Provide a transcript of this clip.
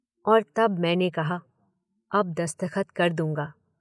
और तब मैंने कहा, अब दस्तखत कर दूंगा।